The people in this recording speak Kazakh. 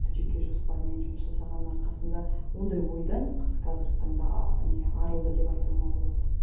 жеке жоспармен жұмыс жасағанның арқасында ондай ойдан қыз қазіргі таңда не арылды деп айтуыма болады